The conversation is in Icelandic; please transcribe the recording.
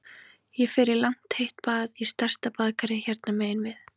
Ég fer í langt heitt bað í stærsta baðkari hérna megin við